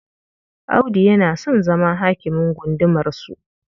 Audu yana son zama hakimin gundumarsu..